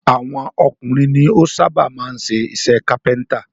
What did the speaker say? Àwọn ọkùnrin ni ó sábà máa ń ṣe iṣẹ́ kápẹ́ntà